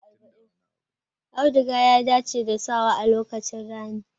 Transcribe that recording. Auduga ya dace da sawa a lokacin rani.